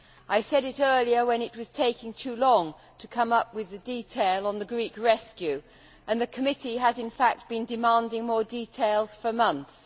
I said it earlier when it was taking too long to come up with the detail on the Greek rescue, and the committee has, in fact, been demanding more details for months.